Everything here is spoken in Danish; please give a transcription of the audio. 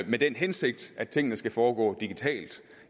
med den hensigt at tingene skal foregå digitalt